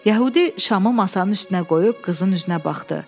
Yəhudi şamı masanın üstünə qoyub qızın üzünə baxdı.